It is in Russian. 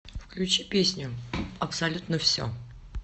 включи песню абсолютно все